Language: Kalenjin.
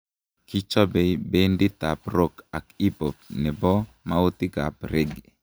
kichobei benditab rock ak hip-hop ne bo maotikab Rage.